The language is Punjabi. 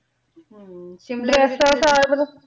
ਹਨ ਸ਼ਿਮਲਾ